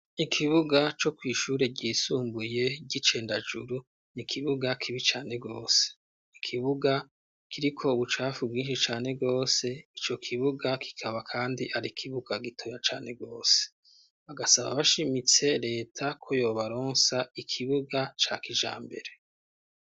Ikibuga co kwishure ryisumbuye ry'icendajuru ni kibuga kibi cane gose ikibuga kiriko ubucafu bwinshi cane gose ico kibuga kikaba kandi ari ikibuga gitoya cane gose bagasaba bashimitse reta ko yobaronsa ikibuga ca kijambere.